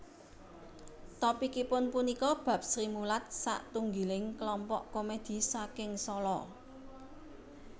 Topikipun punika bab Srimulat satunggiling kelompok komédhi saking Sala